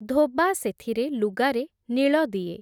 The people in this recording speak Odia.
ଧୋବା ସେଥିରେ ଲୁଗାରେ ନୀଳ ଦିଏ ।